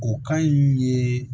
O kan in ye